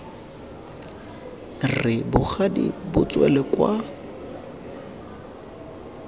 re bogadi bo tswele kwa